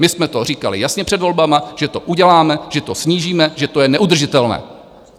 My jsme to říkali jasně před volbami, že to uděláme, že to snížíme, že to je neudržitelné.